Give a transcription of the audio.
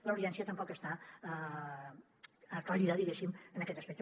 la urgència tampoc està aclarida diguéssim en aquest aspecte